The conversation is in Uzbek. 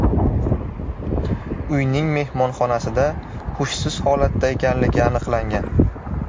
uyning mehmonxonasida hushsiz holatda ekanligi aniqlangan.